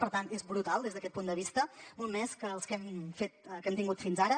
per tant és brutal des d’aquest punt de vista molt més que els que hem tingut fins ara